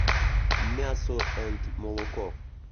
мясо энд молоко